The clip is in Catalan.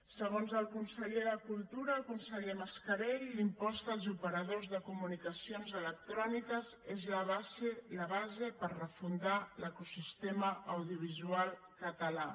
segons el conseller de cultura el conseller mascarell l’impost als operadors de comunicacions electròniques és la base per refundar l’ecosistema audiovisual català